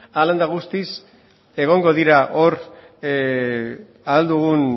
hala eta guztiz egongo dira hor